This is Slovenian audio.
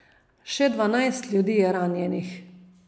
Še dvanajst ljudi je ranjenih.